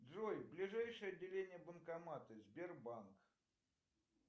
джой ближайшее отделение банкомата сбербанк